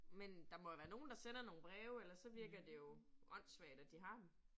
Men der må jo være nogen, der sender nogle breve ellers så virker det jo åndssvagt, at de har dem